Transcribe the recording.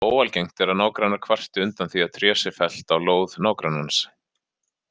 Óalgengt er að nágrannar kvarti undan því að tré sé fellt á lóð nágrannans.